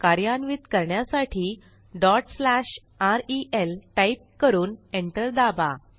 कार्यान्वित करण्यासाठी rel type करून एंटर दाबा